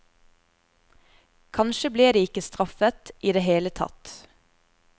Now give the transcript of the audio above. Kanskje ble de ikke straffet i det hele tatt.